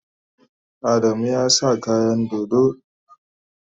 Adamu ya sa kayan dodo.